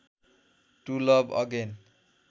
to love again